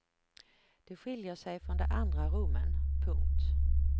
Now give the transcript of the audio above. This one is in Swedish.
Det skiljer sig från de andra rummen. punkt